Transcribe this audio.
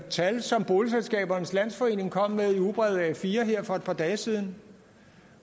tal som boligselskabernes landsforening kom med i ugebrevet a4 her for et par dage siden